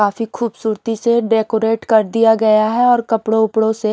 काफी खूबसूरती से डेकोरेट कर दिया गया है और कपड़ों ओपड़ो से--